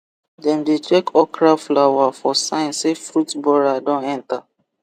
dem dey check okra flower for sign say fruit borer don enter